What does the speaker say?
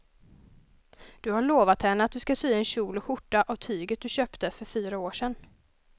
Du har lovat henne att du ska sy en kjol och skjorta av tyget du köpte för fyra år sedan.